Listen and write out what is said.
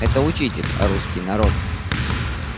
это учитель русский народ